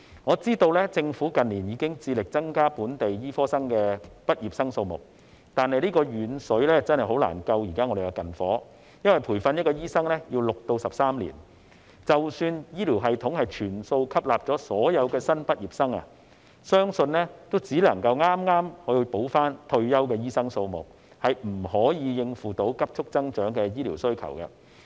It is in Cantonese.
我知道政府近年已經致力增加本地醫科畢業生的數目，但遠水真的難以救近火，因為培訓一位醫生需要6至13年時間，即使醫療系統全數吸納所有新畢業生，相信只夠填補退休的醫生數目，而不能應付急速增長的醫療需求。